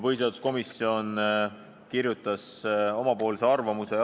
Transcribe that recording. Põhiseaduskomisjon kirjutas oma arvamuse.